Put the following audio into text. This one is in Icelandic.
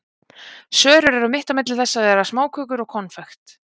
Sörur eru mitt á milli þess að vera smákökur og konfekt.